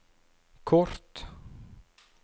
kort